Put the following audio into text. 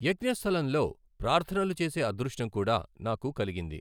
యజ్ఞస్థలంలో ప్రార్థనలు చేసే అదృష్టం కూడా నాకు కలిగింది.